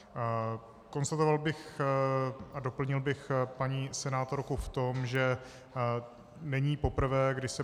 Konstatoval bych a doplnil bych paní senátorku v tom, že není poprvé, kdy se